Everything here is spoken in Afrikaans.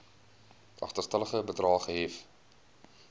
agterstallige bedrae gehef